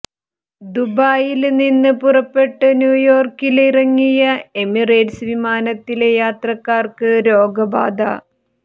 ദുബായില് നിന്ന് പുറപ്പെട്ട് ന്യൂയോര്ക്കില് ഇറങ്ങിയ എമിറേറ്റ്സ് വിമാനത്തിലെ യാത്രക്കാര്ക്ക് രോഗബാധ